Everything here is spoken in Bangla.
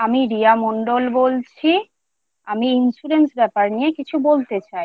আমি রিয়া মন্ডল বলছি, আমি insurance ব্যাপার নিয়ে কিছু বলতে চাই।